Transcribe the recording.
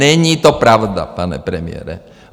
Není to pravda, pane premiére.